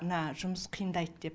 мына жұмыс қиындайды деп